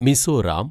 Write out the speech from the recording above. Mizoram